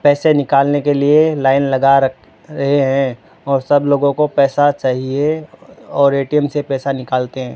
पैसे निकालने के लिए लाइन लगा रखे है और सब लोगों को पैसा चाहिए और ए_टी_एम से पैसा निकालते हैं।